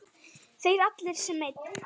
Þeir allir sem einn?